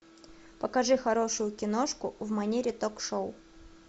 покажи хорошую киношку в манере ток шоу